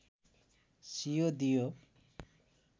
सियो दियो